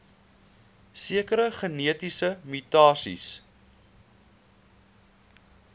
sekere genetiese mutasies